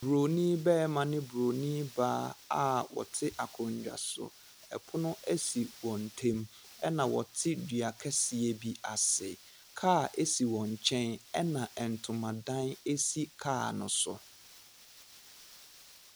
Buroni barima ne buroni baa a wɔte akonnwa so. Pono si wɔn ntam, ɛnna wɔte dua kɛseɛ bi ase. Kaa si wɔn nkyɛn, ɛnna ntomadan si kaa no so.